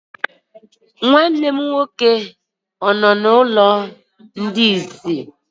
Nwanne gị nwoke ọ nọ n'ụlọ ndị isi?